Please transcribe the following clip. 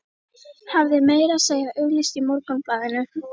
Hafði meira að segja auglýst í Morgunblaðinu.